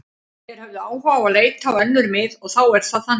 Þeir höfðu áhuga á að leita á önnur mið og þá er það þannig.